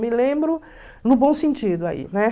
me lembro, no bom sentido aí, né?